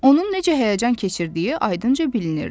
Onun necə həyəcan keçirdiyi ayırdınca bilinirdi.